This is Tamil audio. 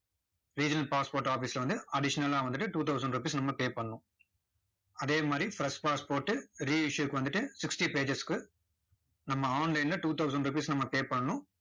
regional passport office வந்து additional லா வந்துட்டு two thousand rupees நம்ம pay பண்ணணும். அதே மாதிரி fresh passport re-issue க்கு வந்துட்டு sixty pages க்கு நம்ம online ல two thousand rupees நம்ம pay பண்ணணும்